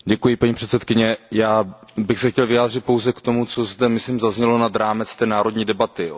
Paní předsedající, já bych se chtěl vyjádřit pouze k tomu, co zde, myslím, zaznělo nad rámec té národní debaty.